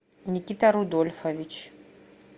никита рудольфович